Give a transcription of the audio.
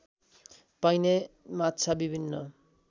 पाइने माछा विभिन्न